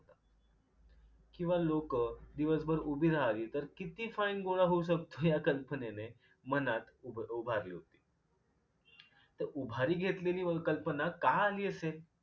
किंवा लोकं दिवसभर उभी राहावी तर किती fine गोळा होऊ शकतो या कल्पनेने मनात उभ उभारली होती. तर उभारी घेतलेली वलकल्पना का आली असेल?